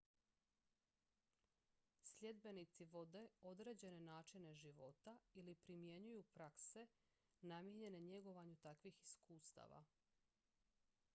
sljedbenici vode određene načine života ili primjenjuju prakse namijenjene njegovanju takvih iskustava